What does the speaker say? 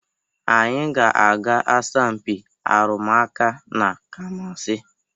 Anyị ga-aga asọmpị arụmụka na Kụmasị.